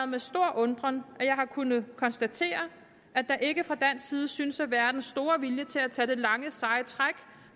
med stor undren at jeg har kunnet konstatere at der ikke fra dansk side synes at være den store vilje til at tage det lange seje træk